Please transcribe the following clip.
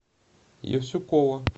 евсюкова